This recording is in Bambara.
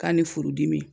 K'a ni furudimi